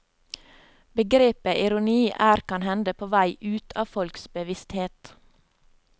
Begrepet ironi er kan hende på vei ut av folks bevissthet.